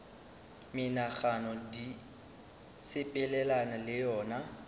menagano di sepelelana le yona